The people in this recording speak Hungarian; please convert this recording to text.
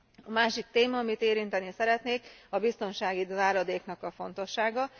A másik téma, amit érinteni szeretnék, a biztonsági záradéknak a fontossága.